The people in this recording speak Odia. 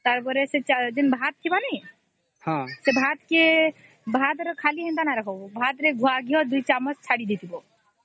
ତାର ପରେ ସେ ଭାତ ଥିବା କି ନାଇଁ ସେ ଭାତ କେ ଖାଲି ନାଇଁ ରଖିବା ଭାତ କେ ୨ ଚାମଚ ଗୁଆ ଘିଅ ଚଡି ଦେଇଥିବା